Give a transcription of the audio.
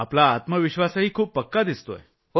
आपला आत्मविश्वासही खूप पक्का दिसतोय